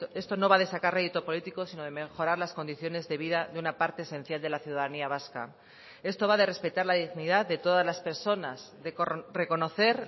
esto no va de sacar rédito político sino de mejorar las condiciones de vida de una parte esencial de la ciudadanía vasca esto va de respetar la dignidad de todas las personas de reconocer